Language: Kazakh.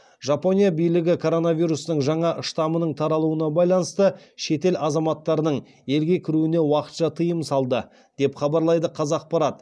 жапония билігі коронавирустың жаңа штаммының таралуына байланысты шетел азаматтарының елге кіруіне уақытша тыйым салды деп хабарлайды қазақпарат